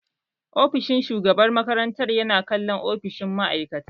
Ofishin shugaban makaranta yana kallon ofishin ma'aikata